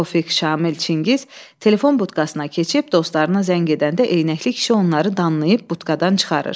Tofiq, Şamil, Çingiz telefon butkasına keçib dostlarına zəng edəndə eyənəkli kişi onları danlayıb butkadan çıxarır.